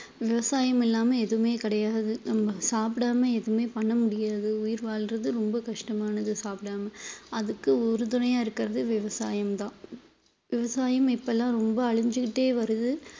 விவசாயம் இல்லாம எதுவுமே கிடையாது நம்ம சாப்பிடாம எதுவுமே பண்ண முடியாது உயிர் வாழ்றது ரொம்ப கஷ்டமானது சாப்பிடாம அதுக்கு உறுதுணையா இருக்குறது விவசாயம்தான் விவசாயம் இப்பல்லாம் ரொம்ப அழிஞ்சுகிட்டே வருது